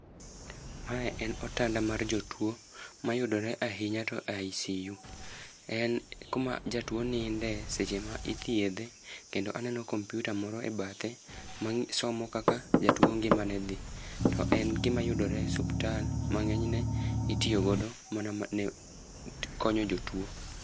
Mae en otanda mar jotwoo, ma yudore ahinya to e ICU. En kuma jatwoo ninde seche ma ithiedhe. Kendo aneno computer moro e bathe, ma somo kaka jatwoo ngimane dhi. To en gima yudore e suptal, ma ngényne itiyogo mana ma konyo jotwoo.